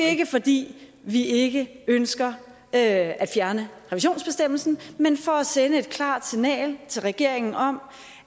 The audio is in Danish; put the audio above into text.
ikke fordi vi ikke ønsker at at fjerne revisionsbestemmelsen men for at sende et klart signal til regeringen om